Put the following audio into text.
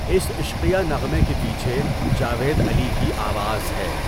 اس عشقیہ نغمے کے پیچھے جاوید علی کی آواز ہے۔